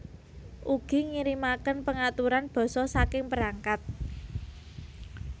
Ugi ngirimaken pengaturan basa saking perangkat